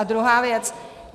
A druhá věc.